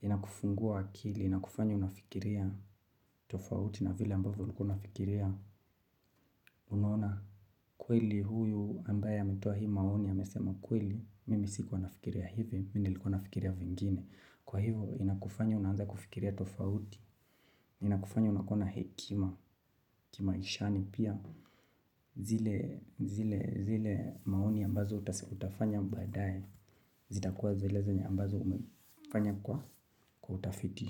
inakufungua akili, inakufanya unafikiria tofauti na vile ambavyo ulikuwa unafikiria unaona. Kweli huyu ambaye ametoa hii maoni ya amesema kweli, mimi sikuwa nafikiria hivi, mi nilkuwa nafikiria vingine. Kwa hivyo inakufanya unaanza kufikiria tofauti. Inakufanya unakuwa na hekima kimaishani pia. Zile maoni ambazo utafanya baadae. Zitakuwa zile zenye ambazo umefanya kwa utafiti.